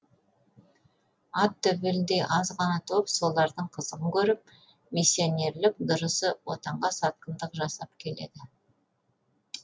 ат төбеліндей аз ғана топ солардың қызығын көріп миссионерлік дұрысы отанға сатқындық жасап келеді